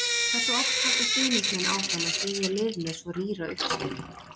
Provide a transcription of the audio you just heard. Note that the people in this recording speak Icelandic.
Hversu oft halda stuðningsmenn áfram að styðja lið með svo rýra uppskeru?